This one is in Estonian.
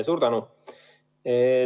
Suur tänu!